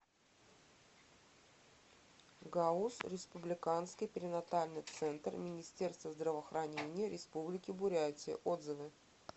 гауз республиканский перинатальный центр министерства здравоохранения республики бурятия отзывы